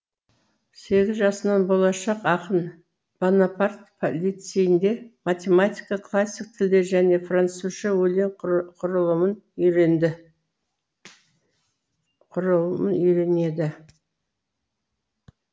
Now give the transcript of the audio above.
сегіз жасынан болашақ ақын бонапарт лицейнде математика классик тілдер және французша өлең құрылымын үйренеді